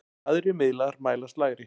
Aðrir miðlar mælast lægri.